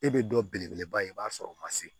E bɛ dɔ belebeleba ye i b'a sɔrɔ o ma se